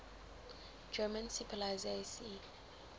german seepolizei sea